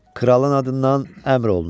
Kralın adından əmr olunur.